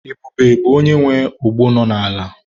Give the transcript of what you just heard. Ebube bụ onye nwe ogbo nọ n'ala.